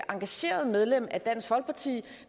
engageret medlem af dansk folkeparti